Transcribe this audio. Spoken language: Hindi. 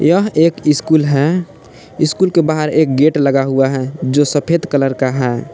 यह एक स्कूल है स्कूल के बाहर एक गेट लगा हुआ है जो सफेद कलर का है।